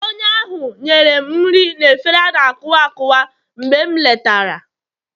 onye ahụ nyere m nri na efere a na-akuwa akuwa mgbe m letara